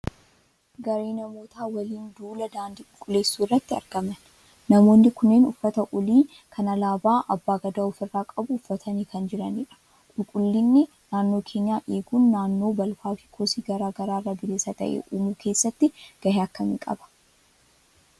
Garee namootaa waliin duula daandii qulqulleessuu irratti argaman. Namoonni kunneen uffata olii kan alaabaa abbaa gadaa ofirraa qabu uffatanii kan jiranidha. Qulqullinni naannoo keenyaa eeguun naannoo balfaa fi kosii garaa garaa irraa bilisa taate uumuu keessatti gahee akkamii qaba?